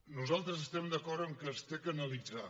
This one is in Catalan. nosaltres estem d’acord que s’ha d’analitzar